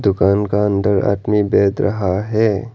दुकान का अंदर आदमी बैत रहा है।